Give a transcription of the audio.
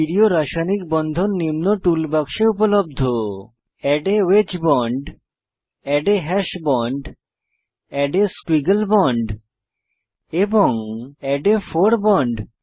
stereo রাসায়নিক বন্ধন নিম্ন টুল বাক্সে উপলব্ধ add a wedge bond add a hash bond add a squiggle bond এবং এড a ফোর বন্ড